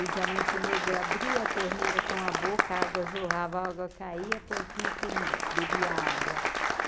O diamante negro abria a torneira com a boca, a água jorrava, a água caia, a porquinha comia, bebia a água.